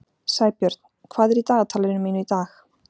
Sæbjörn, hvað er í dagatalinu mínu í dag?